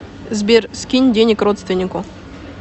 сбер скинь денег родственнику